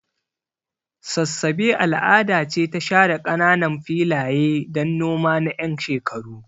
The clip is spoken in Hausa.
Sassabe al'ada ce ta share kananan filaye don noma na 'yan shekaru.